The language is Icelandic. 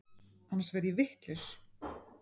Annars verð ég vitlaus.